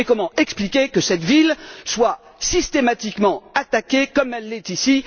Et comment expliquer que cette ville soit systématiquement attaquée comme elle l'est ici?